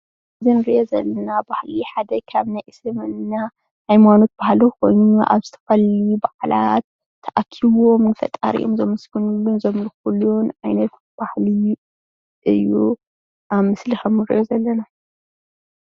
እዚ እንሪኦ ዘለና ባህሊ ሓደ ካብ ናይ እስልምና ሃይማኖት ባህሊ ኮይኑ ኣብ ዝተፈላለዩ በዓላት ተኣኪቦም ንፈጣሪኦም ዘመስግንሉን ዘክምልኩሉን ዓይነት ባህሊ እዩ ኣብ ምስሊ ከምእንሪኦ ዘለና፡፡